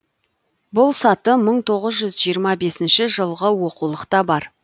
бұл саты мың тоғыз жүз жиырма бесінші жылғы оқулықта бар